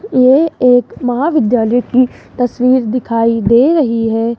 ये एक महाविद्यालय की तस्वीर दिखाई दे रही है।